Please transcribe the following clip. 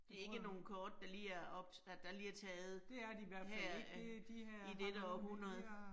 Det ikke nogle kort, der lige er, at der lige er taget her i dette århundrede